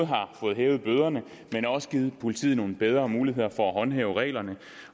har fået hævet bøderne men også givet politiet nogle bedre muligheder for at håndhæve reglerne